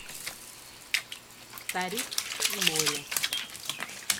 старик и море